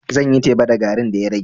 Zan yi teba da garin da ya rage.